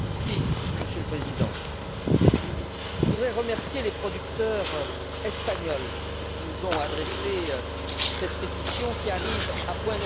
Monsieur le Président, je voudrais remercier les producteurs espagnols qui nous ont adressé cette pétition qui arrive à point nommé.